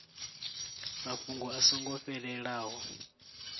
mafhungo a so ngo fhelelaho